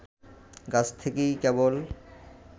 গাছ থেকেই কেবল